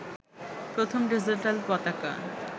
প্রথম ডিজিটাল পতাকা